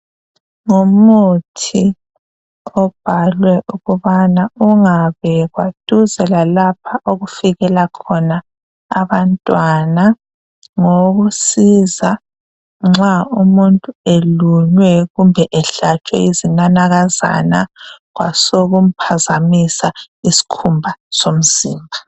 Ngumuthi obhalwe ukubana ungabekwa duze lalapha okufikela khona abantwana ngowokusiza nxa umuntu elunywe kumbe ehlatshwe yizinanakaza kwasokumphazamisa isikhumba somzimba